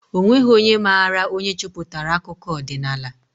O nweghị onye maara onye cheputara akụkọ odinaala